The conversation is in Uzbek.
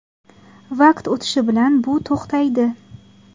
Vaqt o‘tishi bilan bu to‘xtaydi.